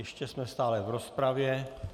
Ještě jsme stále v rozpravě.